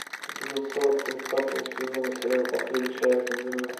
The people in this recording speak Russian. эпизод сорок тридцатого сезона сериала последний человек на земле